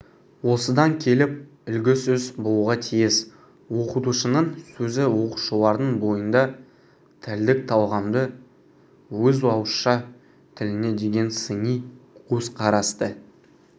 осыдан келіп үлгі сөз болуға тиіс оқытушының сөзі оқушылардың бойында тілдік талғамды өз ауызша тіліне деген сыни көзқарасты